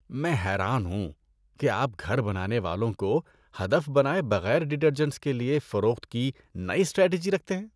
میں حیران ہوں کہ آپ گھر بنانے والوں کو ہدف بنائے بغیر ڈٹرجنٹس کے لیے فروخت کی نئی اسٹریٹجی رکھتے ہیں۔